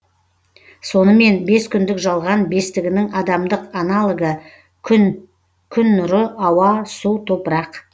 сонымен бес күндік жалған бестігінің адамдық аналогы күн күн нұры ауа су топырақ